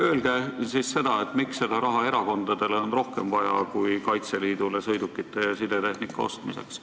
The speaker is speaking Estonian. Öelge, miks on seda raha rohkem vaja erakondadele kui Kaitseliidule sõidukite ja sidetehnika ostmiseks.